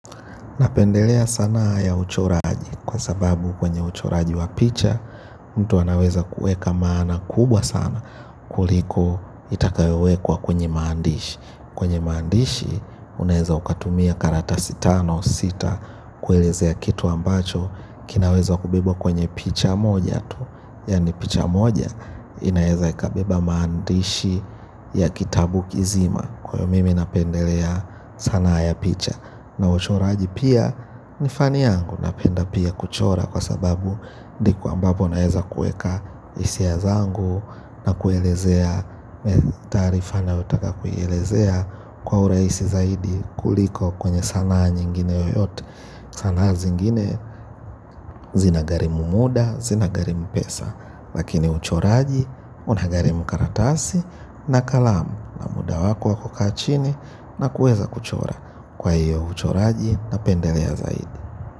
Napendelea sanaa ya uchoraji, kwa sababu kwenye uchoraji wa picha, mtu anaweza kuweka maana kubwa sana kuliko itakayowekwa kwenye maandishi. Kwenye maandishi, unaweza ukatumia karatasi tano sita, kuelezea kitu ambacho kinawezwa kubebwa kwenye picha moja tu. Yaani picha moja, inaweza ikabeba maandishi ya kitabu kizima. Kwa hio mimi napendelea sanaa ya picha na uchoraji pia ni fani yangu. Napenda pia kuchora. Kwa sababu ndipo ambapo naweza kuweka hisia zangu na kuelezea tarifa nayotaka kuelezea kwa urahisi zaidi kuliko kwenye sanaa nyingine yoyote. Sanaa zingine zina gharimu muda, zina gharimu pesa, lakini uchoraji unagharimu karatasi na kalamu, na muda wako wako wa kukaa chini na kuweza kuchora. Kwa hiyo uchoraji napendelea zaidi.